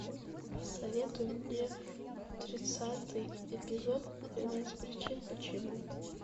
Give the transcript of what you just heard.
посоветуй мне тридцатый эпизод тринадцать причин почему